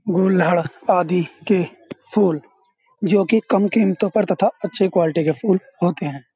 गोल्हड़ आदि के फूल जो कि कम कीमतों पर तथा अच्छी क्वालिटी के फूल होते हैं।